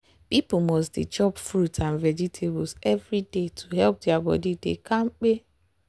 people must dey chop fruit and vegetables every day to help their body dey kampe.